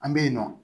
An bɛ yen nɔ